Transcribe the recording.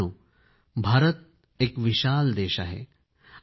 मित्रांनो भारत एक विशाल देश आहे